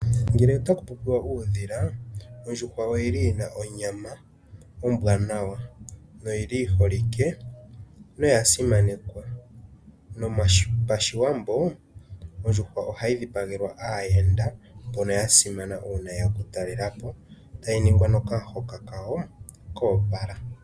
Ngele Otaku popiwa uudhila ondjuhwa oyili yina onyama ombwaana noyili yiholike noyasimanekwa mopashiwambo ondjuhwa ohayi dhipagelwa aayenda mbono yasimana noyeya okutalelapo tayi ningwa nokamuhoka kawo koopala